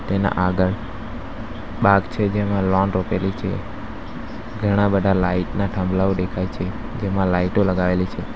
તેના આગળ બાગ છે જેમાં લૉન રોપેલી છે ઘણા બધા લાઈટ ના થાંભલાઓ દેખાય છે તેમાં લાઈટો લગાવેલી છે.